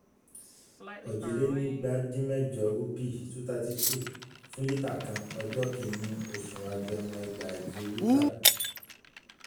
òjìlénígbadínmẹ́jọ um rúpì two hundred thirty two fún lítà kan ọjọ́ kíní oṣù agẹmọ ẹgbàáje lítà.